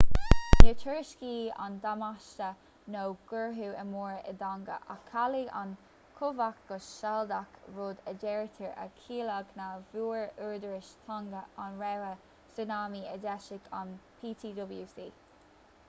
níor tuairiscíodh aon damáiste nó gortuithe móra i dtonga ach cailleadh an chumhacht go sealadach rud a deirtear a chiallaigh nach bhfuair údaráis thonga an rabhadh súnámaí a d'eisigh an ptwc